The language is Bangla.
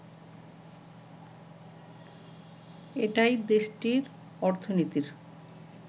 এটাই দেশটির অর্থনীতির